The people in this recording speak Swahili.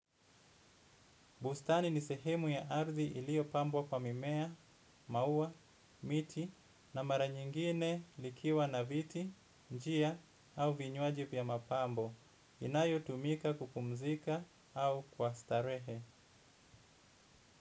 Bustani ni sehemu ya ardhi iliyopambwa kwa mimea, maua, miti na mara nyingine likiwa na viti, njia au vinywaji vya mapambo. Inayotumika kupumzika au kwa starehe.